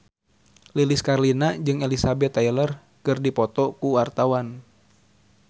Lilis Karlina jeung Elizabeth Taylor keur dipoto ku wartawan